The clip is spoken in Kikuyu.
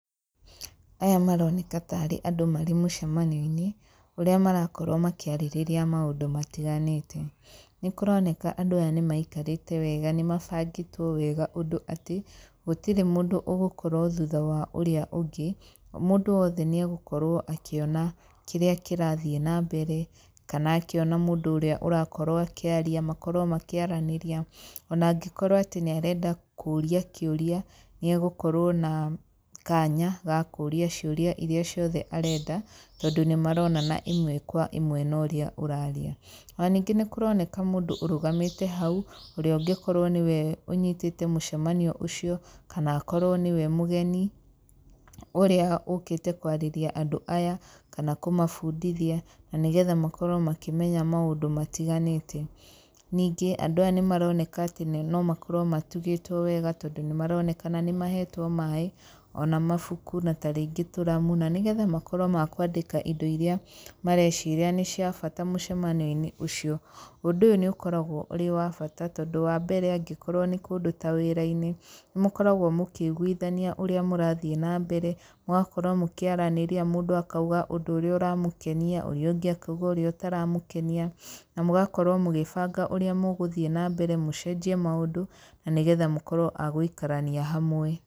Aya maroneka tarĩ andũ marĩ mũcemanio-inĩ ũrĩa marakorwo makĩarĩrĩra maũndũ matiganĩte nĩ kũroneka andũ aya nĩ maikarĩte wega nĩ mabangĩtwo wega ũndũ atĩ gũtirĩ mũndũ ũgũkorwo thuta wa ũrĩa ũngĩ mũndũ wothe nĩ egũkorwo akĩona kĩrĩa kĩrathiĩ na mbere kana akĩona mũndũ ũrĩa ũrakorwo akĩarĩa makorwo makĩaranĩria, ona angĩkorwo atĩ nĩ arenda kũria kĩũria nĩ egũkorwo na kanya gakũria ciũria ciothe arenda tondũ nĩ marona ĩmwe kwa ĩmwe na ũrĩa ũraria ona ningĩ nĩ kũroneka mũndũ ũrũgamĩte hau ũrĩa ũngĩkorwo nĩwe ũnyitĩte mũcemanio ũcio kana akorwo nĩwe mũgeni ũrĩa ũkĩte kwarĩria andũ aya kana kũmabundithia na nĩgetha makorwo makĩmenya maũndũ marĩa matiganĩte. Ningĩ andũ aya nĩ maroneka atĩ no makorwo matugĩtwo wega tondũ nĩ maronekana nĩ mahetwo maĩ ona mabuku ona tarĩngĩ tũramu nĩgetha makorwo makwandĩka indo iria mareciria nĩ cia bata mũcemanio-inĩ ũcio. Ũndũ ũyũ nĩ ũkoragwo ũrĩo wa bata tondũ wambere angĩkorwo nĩ kũndũ ta wĩra-inĩ nĩ mũkoragwo mũkĩiguithania ũrĩa mũrathiĩ na mbere, mũgakorwo mũkĩaranĩria mũndũ akĩuga ũndũ ũrĩa ũramũkenia, ũrĩa ũngĩ akauga ũrĩa ũtaramũkenia na mũgakorwo mũgĩbanga ũrĩa mũgũthiĩ na mbere mũcenjie maũndũ na nĩgetha mũkorwo agũikarania hamwe.